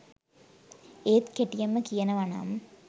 ඒත් කෙටියෙන්ම කියනවනම්